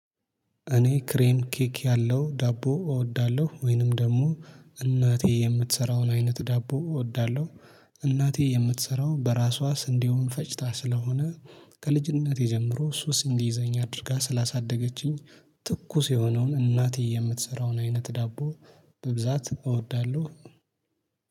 እኔ ክሬም ኬክ ያለው ዳቦ እወዳለሁ ወይንም ደግሞ እናቴ የምትሰራውን አይነት ዳቦ እወዳለሁ እናቴ የምትሰራው በራሷ ስንዴውን ፈጭታ ስለሆነ ከልጅነቴ ጀምሮ ሱስ እንዲይዘኝ አድርጋ ስላሳደገችኝ ትኩስ የሆነውን እናቴ የምትሰራውን አይነት ዳቦ በብዛት እወዳለሁ።